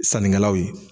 Sannikɛlaw ye